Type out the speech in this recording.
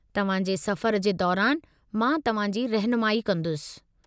तव्हां जे सफ़र जे दौरान मां तव्हां जी रहिनुमाई कंदुसि।